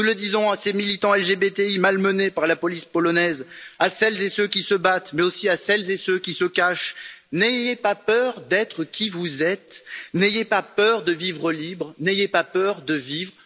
Nous le disons à ces militants LGBT si malmenés par la police polonaise, à celles et ceux qui se battent, mais aussi à celles et ceux qui se cachent n'ayez pas peur d'être qui vous êtes, n'ayez pas peur de vivre libre, n'ayez pas peur de vivre!